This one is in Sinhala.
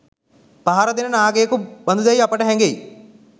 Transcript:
පහරදෙන නාගයකු බඳුයැයි අපට හැඟෙයි.